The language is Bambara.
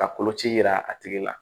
Ka koloci yira a tigi la